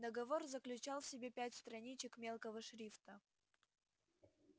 договор заключал в себе пять страничек мелкого шрифта